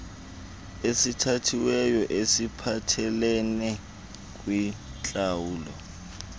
esithathiweyo esiphathelele kwintlawulo